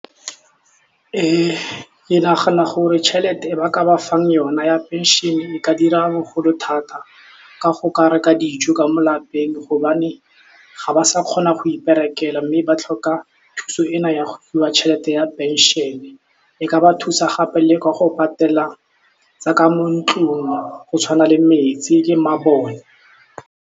Ke nagana gore tšhelete e ba ka ba fang yona ya pension e ka dira bogolo thata, ka go ka reka dijo ka mo lapeng gobane ga ba sa kgona go iperekela mme ba tlhoka thuso ena ya go fiwa tšhelete ya pension-e, e ka ba thusa gape le ka go patela tsaka mo ntlung go tshwana le metsi le mabone.